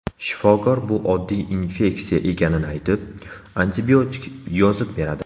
Shifokor bu oddiy infeksiya ekanini aytib, antibiotik yozib beradi.